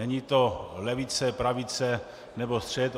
Není to levice, pravice nebo střed.